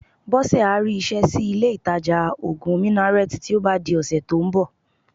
Bọ́sẹ̀ á rí iṣẹ́ sí ilé-ìtajà òògùn Minnaret tí ó bá di ọ̀sẹ̀ tó ń bọ̀